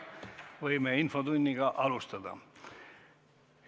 Võime infotunniga alustada.